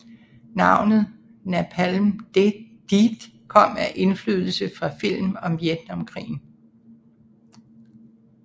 Navnet Napalm Death kom af indflydelse fra film om Vietnamkrigen